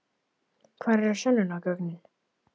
Hvar eru sönnunargögnin?